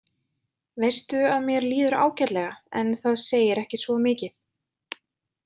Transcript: Veistu að mér líður ágætlega en það segir ekki svo mikið.